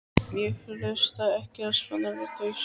Ég hlusta ekki á svona vitleysu.